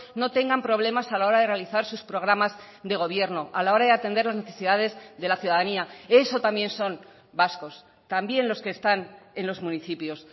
no tengan problemas a la hora de realizar sus programas de gobierno a la hora de atender las necesidades de la ciudadanía eso también son vascos también los que están en los municipios